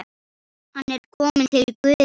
Hann er kominn til Guðs.